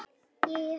Og þau eru tvö.